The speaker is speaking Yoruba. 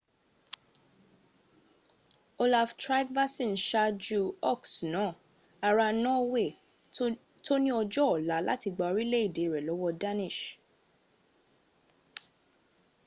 olaf trygvasson ṣáàjú ọks náà ará norway tó ní ọjọ́ ọ̀la láti gba orílẹ̀ èdè rẹ̀ lọ́wọ́ danish